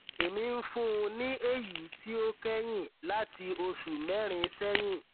èmi ń fún un ní èyí tí ó kẹyìn láti oṣù mẹrin sẹyìn